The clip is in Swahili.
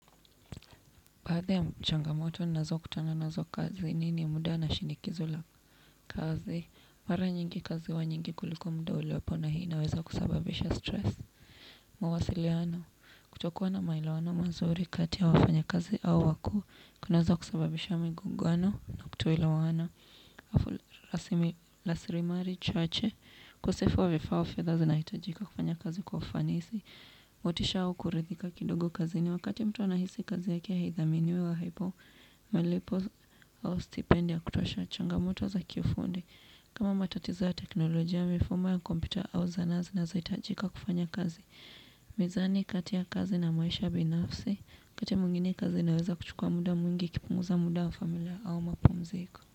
Baadhi ya mchangamoto nazo kutana nazo kazini ni muda na shinikizo la kazi. Mara nyingi kazi huwa nyingi kuliko muda uliopo na hii inaweza kusababisha stress. Mawasiliano, kutokuwa na maelawano mazuri kati ya wafanya kazi au wakuu, kunaweza kusababisha migungano na kutoelewana. Afu raslimali chache ukosefu wa vifaa au fedha zinahitajika kufanya kazi kufanisi. Motisha au kuridhika kidogo kazini wakati mtu anahisi kazi yake haidhaminiwe wa haipo. Malipo au stipend ya kutosha changamoto za kiufundi. Kama matatizo ya teknolojia, mifumo ya kompyuta au zana zinazoitajika kufanya kazi. Mizani kati ya kazi na maisha binafsi wakati mwingine kazi inaweza kuchukua muda mwingi ikipunguza muda wa familia au mapumziko.